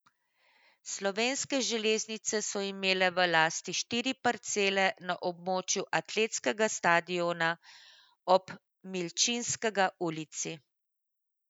Slovenske železnice so imele v lasti štiri parcele na območju atletskega stadiona ob Milčinskega ulici.